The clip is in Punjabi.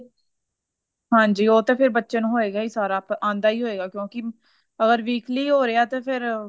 ਹਾਂਜੀ ਉਹ ਤੇ ਫੇਰ ਬੱਚੇ ਨੂੰ ਹੋਏਗਾ ਹੀ ਸਾਰਾ ਆਂਦਾ ਹੀ ਹੋਏਗਾ ਕਿਉਂਕਿ ਅਗਰ weekly ਹੋ ਰਿਹਾ ਤੇ ਫਿਰ